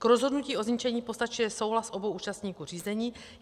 K rozhodnutí o zničení postačuje souhlas obou účastníků řízení.